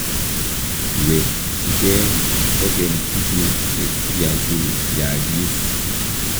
kiwekchigei kukeny tuguk che kiakuyaagis